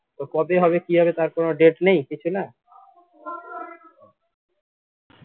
ও কবে হবে কি হবে তার কোনো date নেই কিছুনা